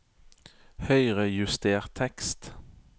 Høyrejuster tekst